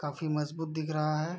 काफी मज़बूत दिख रहा है।